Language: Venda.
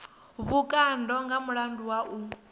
vhukando nga mulandu wa u